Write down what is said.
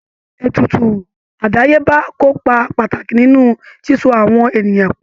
Ètùtù àdáyébá kó ipa pàtàkì nínú síso àwọn ènìyàn pọ̀